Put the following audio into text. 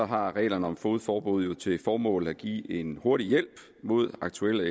har reglerne om fogedforbud jo til formål at give en hurtig hjælp mod aktuelle